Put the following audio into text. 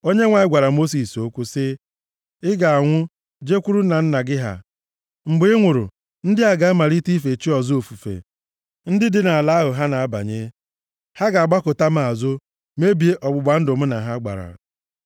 Onyenwe anyị gwara Mosis okwu sị, “Ị ga-anwụ, jekwuru nna nna gị ha. Mgbe ị nwụrụ, ndị a ga-amalite ife chi ọzọ ofufe ndị dị nʼala ahụ ha na-abanye. Ha ga-agbakụta m azụ, mebie ọgbụgba ndụ mụ na ha gbara.